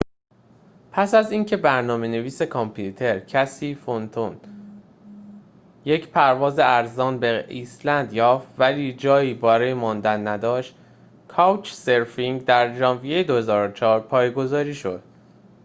پس از اینکه برنامه‌نویس کامپیوتر کسی فنتون یک پرواز ارزان به ایسلند یافت ولی جایی برای ماندن نداشت کاوچ‌سرفینگ در ژانویه ۲۰۰۴ پایگذاری شد